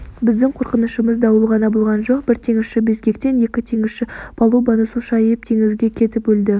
біздің қорқынышымыз дауыл ғана болған жоқ бір теңізші безгектен екі теңізші палубаны су шайып теңізге кетіп өлді